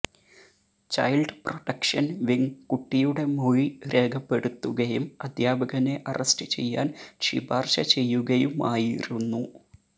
child protection wing കുട്ടിയുടെ മൊഴി രേഖപ്പെടുത്തുകയും അധ്യാപകനെ അറസ്റ്റ് ചെയ്യാൻ ശിപാർശ ചെയ്യുകയുമായിരുന്നു